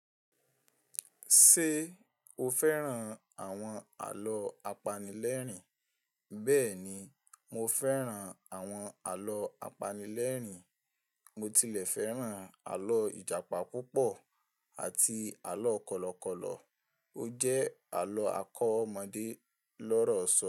Ṣé o fẹ́ràn àwọn àlọ́ apanilẹ́rìn? Bẹ́ẹ̀ni, mo fẹ́ràn àwọn àlọ́ apanilẹ́rìn. Mo tilẹ̀ fẹ́ràn àlọ́ Ìjàpá púpọ̀ àti àlọ́ Kọ̀lọ̀kọ̀lọ̀. Ó jẹ́ àlọ́ akọ́mọ̀dé lọ́rọ̀sọ.